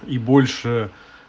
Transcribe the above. и больше